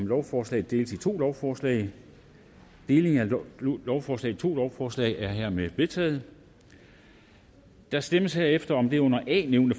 lovforslaget deles i to lovforslag delingen af lovforslaget i to lovforslag er hermed vedtaget der stemmes herefter om det under a nævnte